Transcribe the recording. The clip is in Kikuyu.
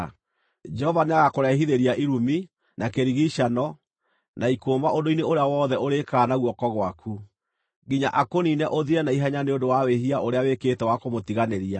Jehova nĩagakũrehithĩria irumi, na kĩrigiicano, na ikũũma ũndũ-inĩ ũrĩa wothe ũrĩĩkaga na guoko gwaku, nginya akũniine ũthire na ihenya nĩ ũndũ wa wĩhia ũrĩa wĩkĩte wa kũmũtiganĩria.